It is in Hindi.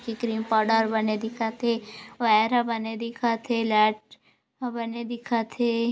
की क्रीम पाउडर बने दिखत हे वायर ह बने दिखत हे लाइट बने दिखत हे।